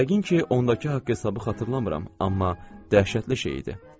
Yəqin ki, ondakı haqq hesabı xatırlamıram, amma dəhşətli şey idi.